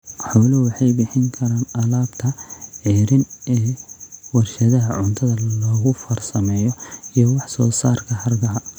Xooluhu waxay bixin karaan alaabta ceeriin ee warshadaha cuntada lagu farsameeyo iyo wax soo saarka hargaha.